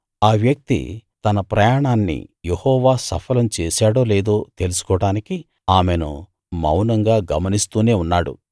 ఆ వ్యక్తి తన ప్రయాణాన్ని యెహోవా సఫలం చేశాడో లేదో తెలుసుకోడానికి ఆమెను మౌనంగా గమనిస్తూనే ఉన్నాడు